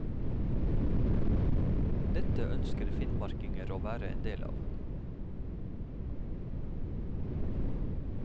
Dette ønsker finnmarkinger å være en del av.